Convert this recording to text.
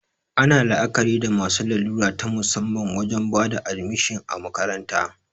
Ana la'akari da masu larura ta musamman wajen bada admishin a makaranta